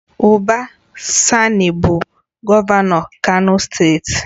Uba Sani bụ Gọvanọ Kano steeti